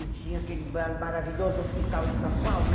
E tinha aquele maravilhoso hospital em São Paulo.